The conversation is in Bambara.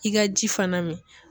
I ka ji fana min